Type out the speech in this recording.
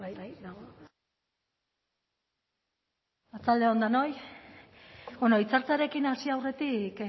arratsalde on denoi bueno hitzartzearekin hasi aurretik